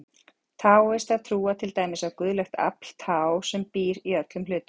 Taóistar trúa til dæmis á guðlegt afl, taó, sem býr í öllum hlutum.